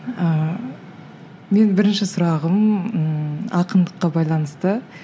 ыыы менің бірінші сұрағым ммм ақындыққа байланысты